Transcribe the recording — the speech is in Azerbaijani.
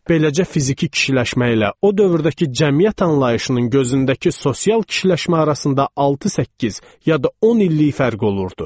Beləcə fiziki kişiləşmə ilə o dövrdəki cəmiyyət anlayışının gözündəki sosial kişiləşmə arasında 6-8, ya da 10 illik fərq olurdu.